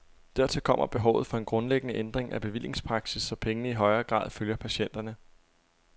Dertil kommer behovet for en grundlæggende ændring af bevillingspraksis, så pengene i højere grad følger patienterne.